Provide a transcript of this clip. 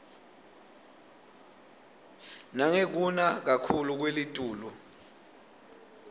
nangekuna kakhuclu kwelitulu